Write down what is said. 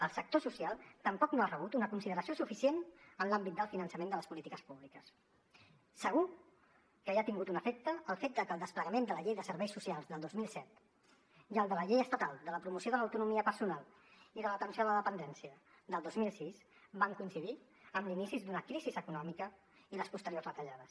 el sector social tampoc no ha rebut una consideració suficient en l’àmbit del finançament de les polítiques públiques segur que hi ha tingut un efecte el fet que el desplegament de la llei de serveis socials del dos mil set i el de la llei estatal de la promoció de l’autonomia personal i de l’atenció a la dependència del dos mil sis van coincidir amb l’inici d’una crisi econòmica i les posteriors retallades